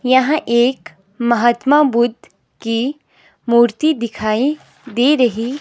यहां एक महात्मा बुद्ध की मूर्ति दिखाई दे रही--